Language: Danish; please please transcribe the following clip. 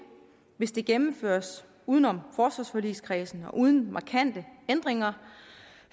hvis det gennemføres uden om forsvarsforligskredsen og uden markante ændringer